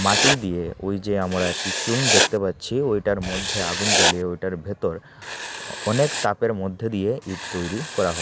মাটি দিয়ে ওই যে আমরা একটা চোঙ দেখতে পারছি ঐটার মধ্যে আগুন জ্বালিয়ে ঐটার ভেতর অনেক তাপের মধ্যে দিয়ে ইট তৈরি করা হ--